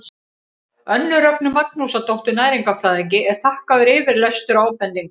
önnu rögnu magnúsardóttur næringarfræðingi er þakkaður yfirlestur og ábendingar